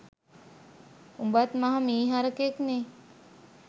උඹත් මහ මී හරකෙක්නෙ